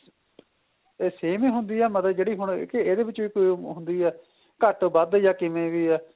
ਇਹ same ਈ ਹੁੰਦੀ ਏ ਮਤਲਬ ਜਿਹੜੀ ਹੁਣ ਕੀ ਇਹਦੇ ਵਿੱਚ ਕੋਈ ਹੁੰਦੀ ਏ ਘੱਟ ਵੱਧ ਜਾਂ ਕਿਵੇਂ ਵੀ ਏ